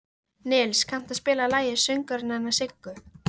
Nils, kanntu að spila lagið „Söngurinn hennar Siggu“?